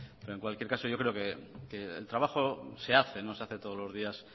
pero en cualquier caso yo creo que el trabajo se hace se hace todos los días